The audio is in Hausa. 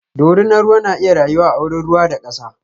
ɗorinan ruwa na iya rayuwa a wurin ruwa da kasa.